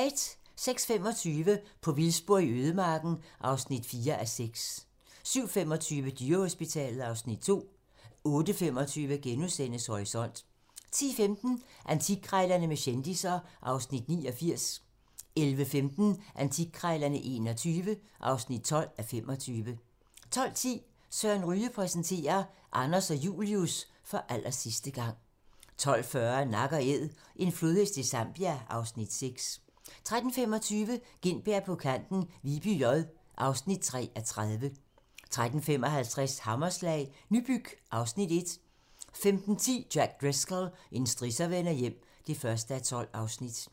06:25: På vildspor i ødemarken (4:6) 07:25: Dyrehospitalet (Afs. 2) 08:25: Horisont * 10:15: Antikkrejlerne med kendisser (Afs. 89) 11:15: Antikkrejlerne XXI (12:25) 12:10: Søren Ryge præsenterer: Anders og Julius - for allersidste gang 12:40: Nak & æd - en flodhest i Zambia (Afs. 6) 13:25: Gintberg på kanten - Viby J (3:30) 13:55: Hammerslag - Nybyg (Afs. 1) 15:10: Jack Driscoll - en strisser vender hjem (1:12)